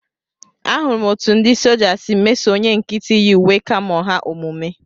Ahụrụ m etu ndị soja si meso onye nkịtị yi uwe kamo ha omume